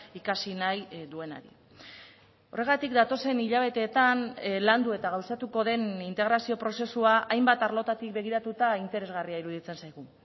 ikasi nahi duenari horregatik datozen hilabeteetan landu eta gauzatuko den integrazio prozesua hainbat arlotatik begiratuta interesgarria iruditzen zaigu